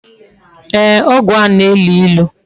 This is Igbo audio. Ee, ogwu ahu na-elu ilu